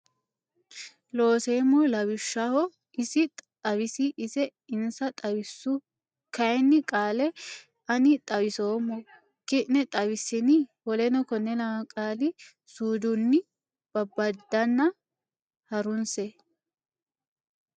Looseemmo Lawishshaho Isi xawisi Ise insa xawissu kayinni qaale ani xawisummo ki ne xawissini w k l qaali suudunni babbadanna ha runse.